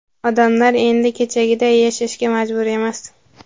odamlar endi kechagiday yashashga majbur emas.